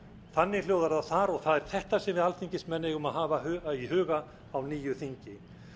þannig hljóðar það þar og það er þetta sem við alþingismenn eigum að hafa í huga á nýju þingi